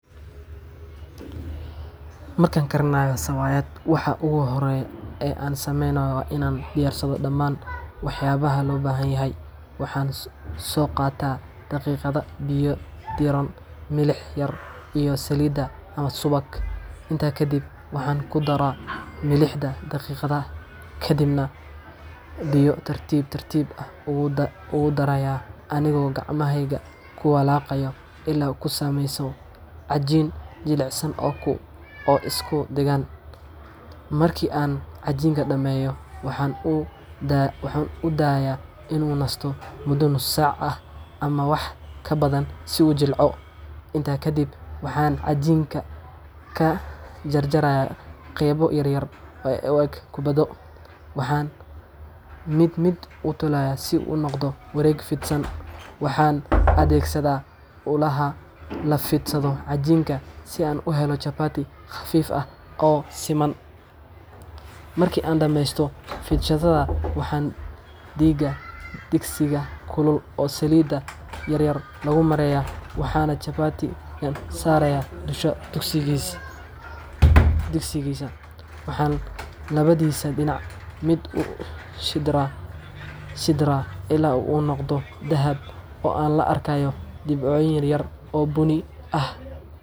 Marka aan karinayo chapati, waxa ugu horreeya ee aan sameeyo waa in aan diyaarsho dhammaan waxyaabaha loo baahan yahay. Waxaan soo qaataa daqiiqda, biyo diirran, milix yar, iyo saliid ama subag. Intaa kadib, waxaan ku daraa milixda daqiiqda, kadibna biyo tartiib tartiib ah ugu darayaa anigoo gacmahayga ku walaaqaya ilaa uu ka samaysmo cajiin jilicsan oo isku dheggan. Markii aan cajiinka dhammeeyo, waxaan u daaayaa in uu nasto muddo nus saac ah ama wax ka badan si uu u jilco. Intaa kaddib, waxaan cajiinka ka jarayaa qaybo yaryar oo u eg kubbado, waxaana mid mid u tolaa si uu u noqdo wareeg fidsan. Waxaan adeegsadaa ulaha la fidsado cajiinka si aan u helo chapati khafiif ah oo siman. Markii aan dhammeeyo fidsashada, waxaan dhigaa digsiga kulul oo saliid yar lagu mariyay, waxaana chapati-ga saaraa dusha digsiga. Waxaan labadiisa dhinac mid mid u shidraa ilaa uu ka noqdo dahab ah oo la arkayo dhibco yaryar oo bunni ah.